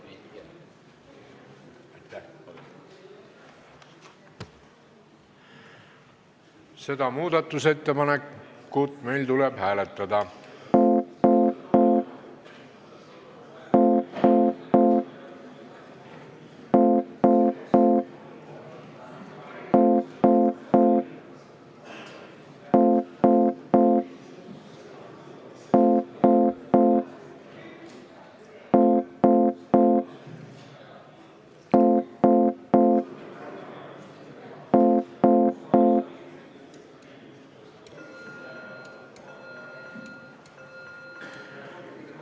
Seda ettepanekut tuleb meil hääletada.